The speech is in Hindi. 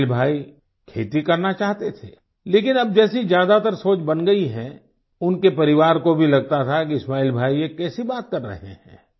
इस्माइल भाई खेती करना चाहते थे लेकिन अब जैसे ज्यादातर सोच बन गई है उनके परिवार को भी लगता था कि इस्माइल भाई ये कैसी बात कर रहे हैं